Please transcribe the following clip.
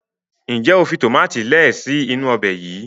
njé o fi tomati lẹẹ si inu Ọbẹ̀ yí?